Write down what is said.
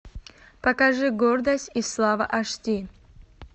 покажи гордость и слава аш ди